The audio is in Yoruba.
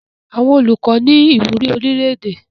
Àwọn Olùkọ ní ìwúrí orílẹ̀-èdè.